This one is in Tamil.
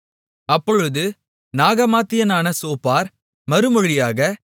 அப்பொழுது நாகமாத்தியனான சோப்பார் மறுமொழியாக